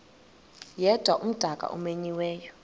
yedwa umdaka omenyiweyo